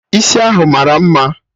Isi ahụ mara mma